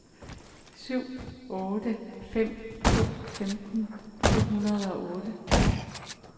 syv otte fem to femten to hundrede og otte